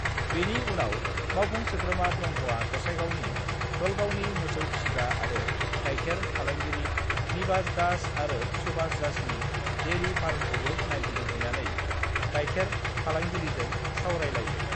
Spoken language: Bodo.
बेनि उनाव मावफुं सोद्रोमा ब्रह्मआ गसाइगावनि दलगावनि मोसौ फिसिग्रा आरो गायखेर फालांगिरि निबाश दास आरो सुभाश दासनि डेरि फार्मखौबो नायगिदिंहैनानै गायखेर फालांगिरिजों सावरायलायो।